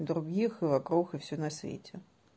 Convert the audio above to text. других и вокруг все на свете